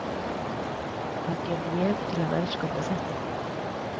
Hvað gerði ég til að verðskulda þetta?